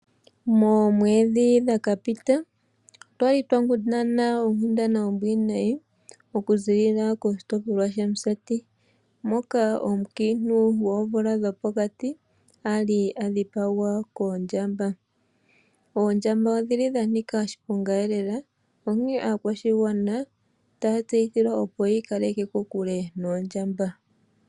Moomedhi dhakapita otwa li twa kundana oonkundana oombwiinayi oku ziilila koshitopolwa shaMusati moka omukiintu goomvula dhopokati ali a dhipagwa koondjamba. Oondjamba odhili dha nika oshilongo lela onkene aakwashigwana otaya tseyithilwa opo yiikaleke kokule noondjamba.